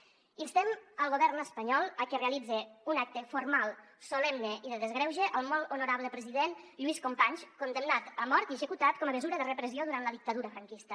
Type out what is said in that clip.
instem el govern espanyol a que realitze un acte formal solemne i de desgreuge al molt honorable president lluís companys condemnat a mort i executat com a mesura de repressió durant la dictadura franquista